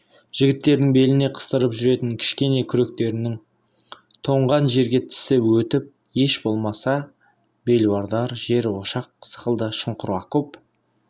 жігіттердің беліне қыстырып жүретін кішкене күректерінің тоңған жерге тісі өтіп еш болмаса белуардан жер ошақ сықылды шұңқыр окоп